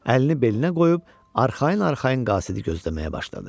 Əlini belinə qoyub arxayın-arxayın qasidi gözləməyə başladı.